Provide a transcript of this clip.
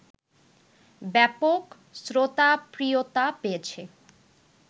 ব্যাপক শ্রোতাপ্রিয়তা পেয়েছে